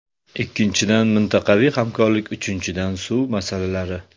Ikkinchidan, mintaqaviy hamkorlik, uchinchidan suv masalalari.